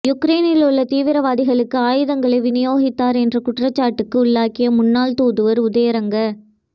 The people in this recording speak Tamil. யுக்ரெய்னில் உள்ள தீவிரவாதிகளுக்கு ஆயுதங்களை விநியோகித்தார் என்ற குற்றச்சாட்டுக்கு உள்ளாகிய முன்னாள் தூதுவர் உதயங்க